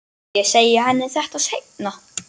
Ég segi henni þetta seinna.